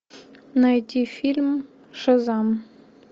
найти фильм шазам